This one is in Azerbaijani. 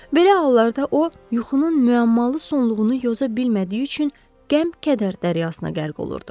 Belə hallarda o yuxunun müəmmalı sonluğunu yoza bilmədiyi üçün qəm-kədər dəryasına qərq olurdu.